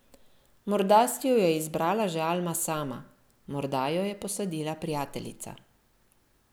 Morda si jo je izbrala že Alma sama, morda jo je posadila prijateljica.